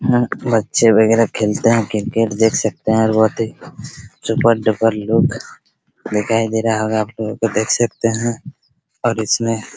यहाँ बच्चे वगैरह खेलते हैं क्रिकेट देख सकते हैं और बहुत ही सुपर डुपर लुक दिखाई दे रहा होगा आपको लोगो को देख सकते हैं और इसमें --